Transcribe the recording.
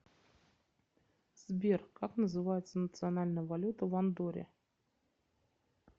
сбер как называется национальная валюта в андорре